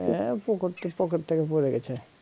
হ্যা পকটতে pocket থেকে পড়ে গেছে